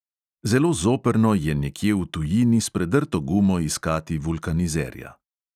Zelo zoprno je nekje v tujini s predrto gumo iskati vulkanizerja.